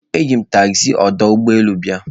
Eji m taxzi ọdụ ụgbọ elu bịa.